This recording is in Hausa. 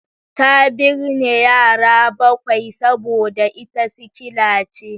Ta binne yara bakwai saboda ita sikkila ce